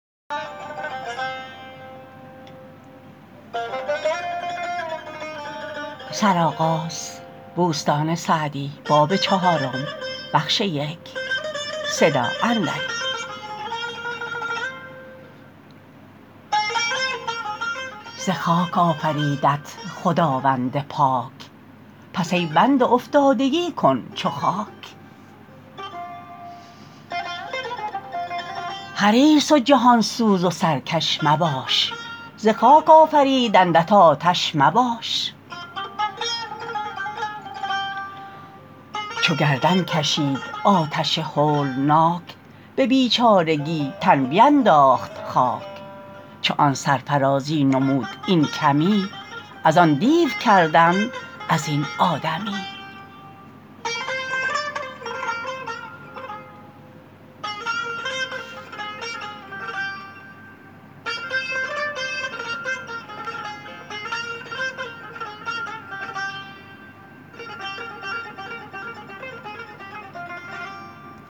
ز خاک آفریدت خداوند پاک پس ای بنده افتادگی کن چو خاک حریص و جهان سوز و سرکش مباش ز خاک آفریدندت آتش مباش چو گردن کشید آتش هولناک به بیچارگی تن بینداخت خاک چو آن سرفرازی نمود این کمی از آن دیو کردند از این آدمی